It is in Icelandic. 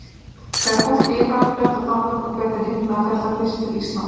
Þegar fólkið í Frakklandi og Danmörku fer til himna fer það þá fyrst til Íslands?